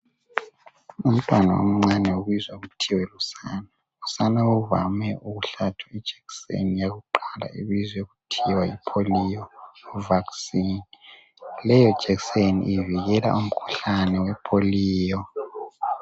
umntwana omncane ubizwa kuthiwe usane usane uvame ukuhlatshwa ijekiseni yakuqala ebizwa kuthiwa yi polio vaccine leyo jekiseni ivikela umkhuhlane we polio